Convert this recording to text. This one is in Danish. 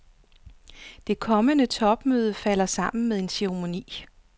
Det kommende topmøde falder sammen med en ceremoni.